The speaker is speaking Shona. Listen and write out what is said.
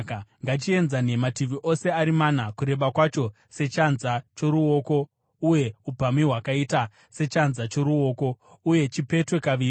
Ngachienzane mativi ose ari mana, kureba kwacho sechanza choruoko uye upamhi hwakaita sechanza choruoko, uye chipetwe kaviri.